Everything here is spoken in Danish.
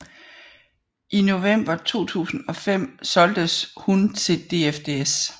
I november 2005 solgtes hun til DFDS